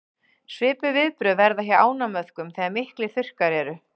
svipuð viðbrögð verða hjá ánamöðkum þegar miklir þurrkar eru